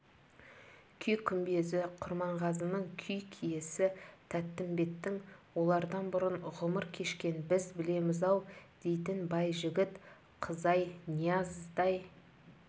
күй күмбезі құрманғазының күй киесі тәттімбеттің олардан бұрын ғұмыр кешкен біз білеміз-ау дейтін байжігіт қызай нияздай